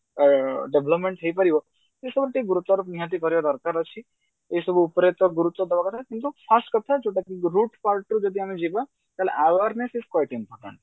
ଅ development ହେଇପାରିବ ସେସବୁ ଟିକେ ନିହାତି ଦରକାର ଅଛି ଏଇସବୁ ଉପରେ ତ ଗୁରୁତ୍ଵ ଦବା କଥା କିନ୍ତୁ first କଥା ଯୋଉଟା କି ବହୁତ ତା ଉପରେ ଯଦି ଆମେ ଯିବା ତାହେଲେ awareness is quite important